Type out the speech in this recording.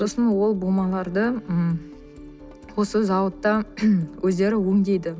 сосын ол бумаларды м осы зауытта өздері өңдейді